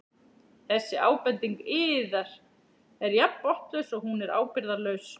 Þessi ábending yðar er jafn botnlaus og hún er ábyrgðarlaus.